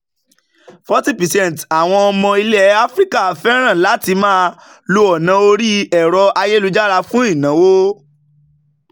40 percent àwọn ọmọ ilẹ̀ áfíríkà fẹ́ràn láti máa lo ọ̀nà orí ẹ̀rọ ayélujára fún ìnáwó.